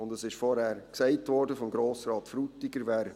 Und es wurde vorhin von Grossrat Frutiger gesagt: